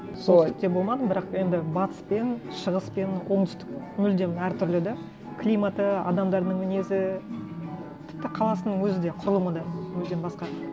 болмадым бірақ енді батыс пен шығыс пен оңтүстік мүлдем әртүрлі да климаты адамдарының мінезі тіпті қаласының өзі де құрылымы да мүлдем басқа